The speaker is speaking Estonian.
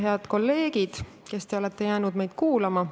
Head kolleegid, kes te olete meid kuulama jäänud!